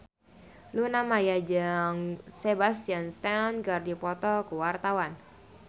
Luna Maya jeung Sebastian Stan keur dipoto ku wartawan